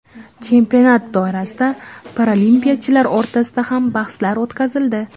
Chempionat doirasida paralimpiyachilar o‘rtasida ham bahslar o‘tkazildi.